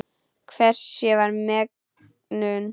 Hvers ég var megnug.